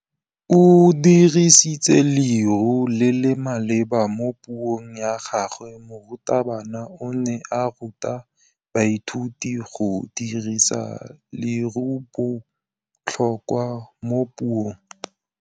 O dirisitse lerêo le le maleba mo puông ya gagwe. Morutabana o ne a ruta baithuti go dirisa lêrêôbotlhôkwa mo puong.